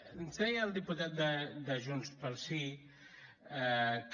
ens deia el diputat de junts pel sí que